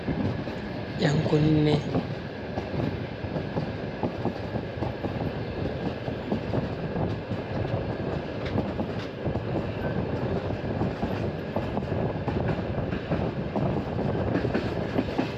ƴankunneeji fere fere on ,ɗon takki haa dow paɓawal fere boɗeewal nder caago. Woodi peton be makkon, ƴankunne man feere ɗo mari sarka nder leeda man. Nden kalaaji kanngeeri on ɓurna fu.